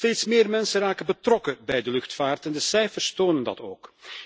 Steeds meer mensen raken betrokken bij de luchtvaart en de cijfers tonen dat ook.